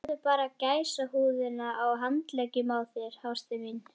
Sjáðu bara gæsahúðina á handleggjunum á þér, ástin mín.